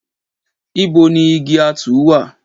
Ìbò ni ìgí àtú wà?